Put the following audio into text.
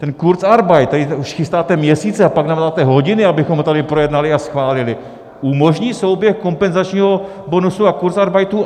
Ten kurzarbeit, který už chystáte měsíce, a pak nám dáte hodiny, abychom to tady projednali a schválili, umožní souběh kompenzačního bonusu a kurzarbeitu?